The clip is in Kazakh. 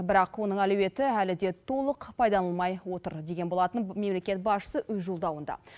бірақ оның әлеуеті әлі де толық пайдаланылмай отыр деген болатын мемлекет басшысы өз жолдауында